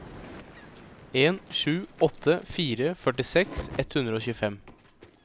en sju åtte fire førtiseks ett hundre og tjuefem